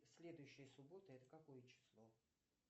следующая суббота это какое число